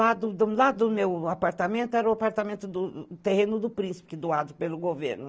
Lá do do lá do meu apartamento era o apartamento terreno do príncipe, doado pelo governo.